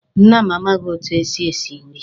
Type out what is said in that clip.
Nna m amaghị etu e si esi nri